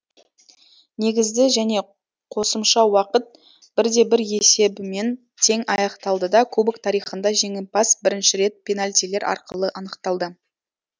негізді және қосымша уақыт бірде бір есебімен тең аяқталды да кубок тарихында жеңімпаз бірінші рет пенальтилер арқылы анықталды